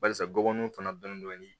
Barisa gɔngɔn tana dɔni dɔni